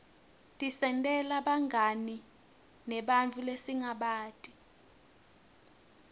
tisentela bungani nebanntfu lesingabati